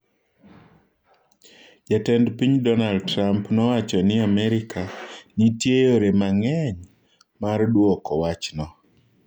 "Jatend piny Donald Trump nowacho ni Amerika ""nitie yore mang'eny"" mar duoko wachno."